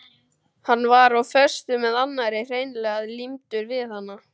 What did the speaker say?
Hann var á föstu með annarri, hreinlega límdur við hana.